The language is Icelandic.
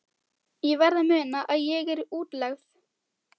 Ég verð að muna að ég er í útlegð.